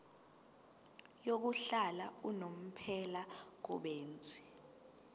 yokuhlala unomphela kubenzi